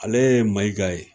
Ale ye Mayiga ye